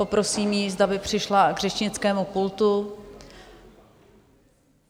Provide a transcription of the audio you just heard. Poprosím ji, zda by přišla k řečnickému pultu.